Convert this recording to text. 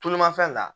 Tulumafɛn na